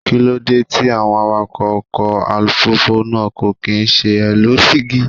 Kíló dé tí àwọn awakọ́ ọkọ̀ alùpùpù kò kín ṣe é lo dígí?